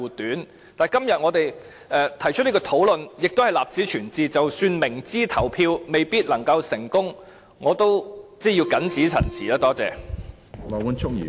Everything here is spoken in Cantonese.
但是，今天我們提出這個討論，亦是為立此存照，即使明知表決不一定成功......我謹此陳辭，多謝。